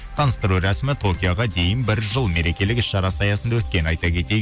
таныстыру рәсімі токиоға дейін бір жыл мерекелік іс шарасы аясында өткенін айта кетейік